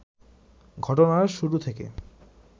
ঘটনার শুরু থেকে